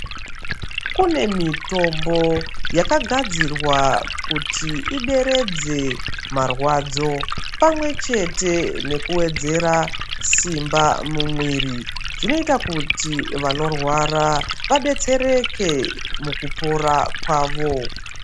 Kune mitombo yakagadzirwa kuti ideredze marwadzo pamwechete nekuwedzera simba mumwiri zvinoita kuti vanorwara vabetsereke mukupora kwavo